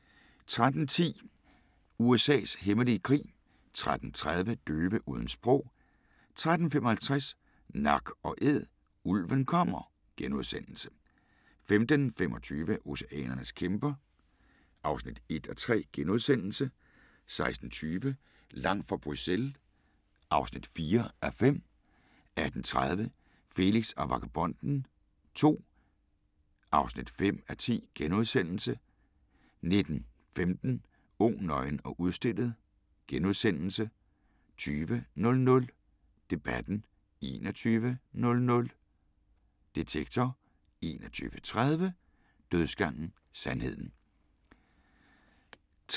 13:10: USA's hemmelige krig 13:30: Døve uden sprog 13:55: Nak & Æd: Ulven kommer * 15:25: Oceanernes kæmper (1:3)* 16:20: Langt fra Bruxelles (4:5) 18:30: Felix og Vagabonden II (5:10)* 19:15: Ung, nøgen og udstillet * 20:00: Debatten 21:00: Detektor 21:30: Dødsgangen – sandheden